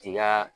K'i ka